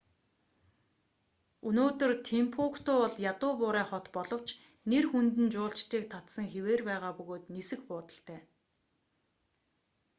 өнөөдөр тимбукту бол ядуу буурай хот боловч нэр хүнд нь жуулчдыг татсан хэвээр байгаа бөгөөд нисэх буудалтай